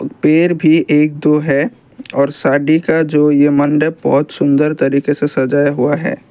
पेड़ भी एक दो है और शादी का जो ये मंड बहुत सुंदर तरीके से सजाया हुआ है।